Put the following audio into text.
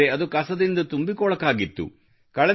ಆದರೆ ಅದು ಕಸದಿಂದ ತುಂಬಿ ಕೊಳಕಾಗಿತ್ತು